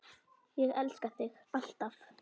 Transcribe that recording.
Ég elska þig. alltaf.